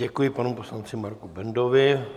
Děkuji panu poslanci Marku Bendovi.